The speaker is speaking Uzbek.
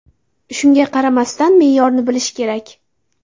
Shunga qaramasdan, me’yorni bilish kerak.